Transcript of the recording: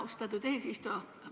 Austatud eesistuja!